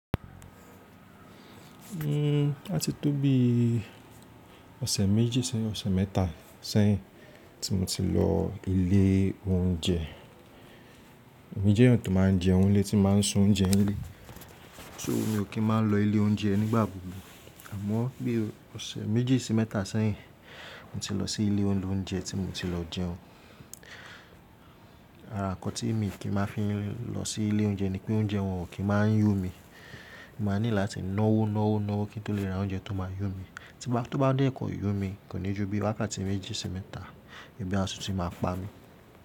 Hmm atí tó bí ọ̀sẹ̀ méjì sẹ́yìn, ọ̀sẹ̀ mẹ́ta sẹ́yìn tí mo ti lọ ilé oúnjẹ. Èmi jẹ́ ènìyàn tó máa ń jẹ oúnjẹ ilé, tí máa ń se oúnjẹ ilé. So mi ò kí ń máa lọ ilé oúnjẹ nígbà gbogbo. Àmọ́ bí ọ̀sẹ̀ méjì sí mẹ́ta sẹ́yìn, mo ti lọ sí ilé olóúnjẹ tí mo ti lọ jẹun. Ará, ǹnkan tí mi kì í máa fi lọ sí ilé oúnjẹ ni pé oúnjẹ wọn ò kí ń máa yó mi. Mo máa need láti náwó, náwó, náwó kí n tó le ra oúnjẹ tó máa yó mi. Tí n bá, tó bá dé kọ̀i yó mi, kò ní ju bí wákàtí méjì sí mẹ́ta, ebi à tun tí máa pa mí.